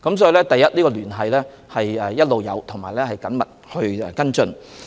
所以，第一，我們一直有聯繫，亦有緊密跟進。